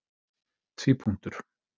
tvípunktur